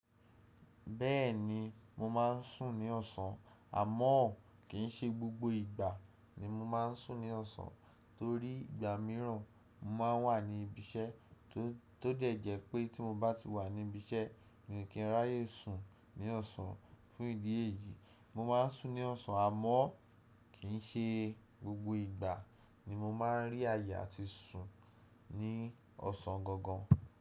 Bẹ́ẹ̀ni mo máa n súń ní ọ̀sán àmọ́ kìí ṣe gbogbo ìgbà ni mo máa n súń ní ọ̀sán torí ìgbà míràn mo ma wà ní ibi iṣẹ́ tó de jẹ́ pé tí mo bá ti wà ní ibi iṣẹ́ mi ò kí n ráayè sùn ní ọ̀sán. Fún ìdí èyí, mo máa n súń ní ọ̀sán àmọ́ kìí ṣe gbogbo ìgbà ni mo máa n rí àayè áti sùn ní ọ̀sán gangan.